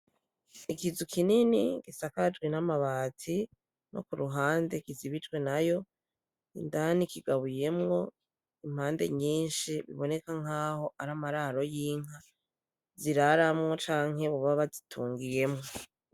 Ikizu kinini gisakajwe n'amabati no kuruhande kizibijwe nayo indani kigabuyemwo impande nyinshi biboneka nkaho aramararo y'inka ziraramwo canke boba bazitungiyemwo.